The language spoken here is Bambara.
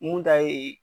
Mun ta ye